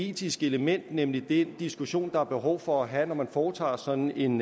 etiske element nemlig den diskussion man har behov for at have når man foretager sådan en